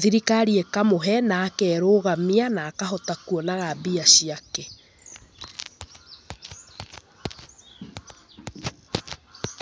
thirikari ĩkamũhe na akerũgamia na akahota kũonaga mbia ciake.